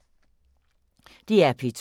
DR P2